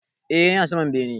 E, yana saman bene.